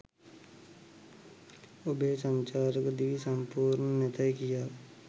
ඔබේ සංචාරක දිවිය සම්පූර්ණ නැතැයි කියා